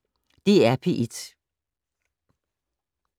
DR P1